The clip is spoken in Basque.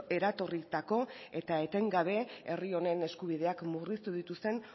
eratorritako eta etengabe herri honen eskubideak murriztu dituzten